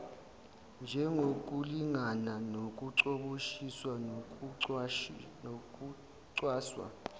njengokulingana nokucoboshiswa kokucwaswa